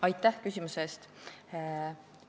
Aitäh küsimuse eest!